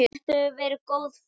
Þetta hefur verið góð ferð.